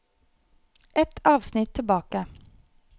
Ett avsnitt tilbake